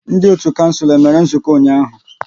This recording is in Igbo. Ndị otu kouncil e mere nzukọ ụnyaahụ?